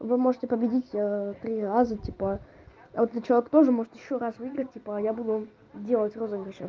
вы можете победить три раза типа а этот человек тоже может ещё раз выиграть типа а я буду делать розыгрыши